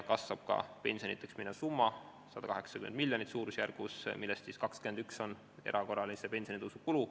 Ka pensionideks minev summa kasvab suurusjärgus 180 miljonit, millest 21 miljonit on erakorralise pensionitõusu kulu.